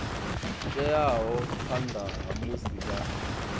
teaho phanḓa ha musi vha